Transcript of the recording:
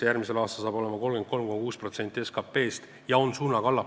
Järgmisel aastal on see 33,6% SKP-st ja allapoole suunaga.